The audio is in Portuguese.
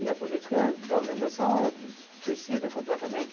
E a política da organização era suicida completamente.